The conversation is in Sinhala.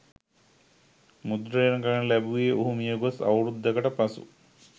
මුද්‍රණය කරන ලැබුවේ ඔහු මියගොස් අවුරුද්දකට පසු